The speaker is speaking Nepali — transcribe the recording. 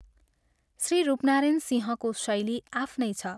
श्री रूपनारायण सिंहको शैली आफ्नै छ।